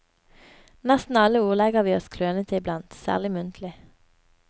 Nesten alle ordlegger vi oss klønete iblant, særlig muntlig.